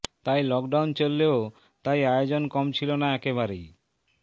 তাই লকডাউন চললেও তাই আয়োজন কম ছিল না একেবারেই